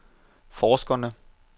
forskerne